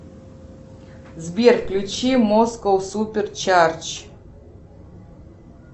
сбер включи москоу супер чарч